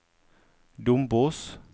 Dombås